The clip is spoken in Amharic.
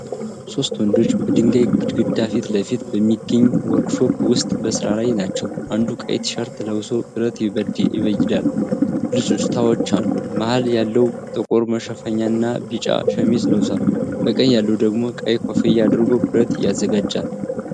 ሶስት ወንዶች በድንጋይ ግድግዳ ፊት ለፊት በሚገኝ ወርክሾፕ ውስጥ በስራ ላይ ናቸው። አንዱ ቀይ ቲሸርት ለብሶ ብረትን ይበይዳል፤ ብልጭታዎችም አሉ። መሃል ያለው ጥቁር መሸፈኛና ቢጫ ሸሚዝ ለብሷል። በቀኝ ያለው ደግሞ ቀይ ኮፍያ አድርጎ ብረት ያዘጋጃል።